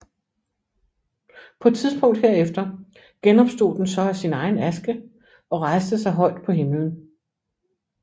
På et tidspunkt herefter genopstod den så af sin egen aske og rejste sig højt på himlen